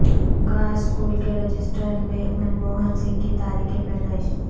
گاہ سکول کے رجسٹر میں منموہن سنگھ کی تاریخ پیدائش